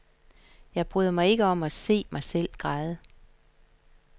Jeg bryder mig ikke om at se mig selv græde.